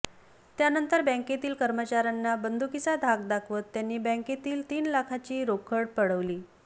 त्यानंतर बँकेतील कर्मचाऱ्यांना बंदुकीचा धाक दाखवत त्यांनी बँकेतील तीन लाखाची रोकड पळवली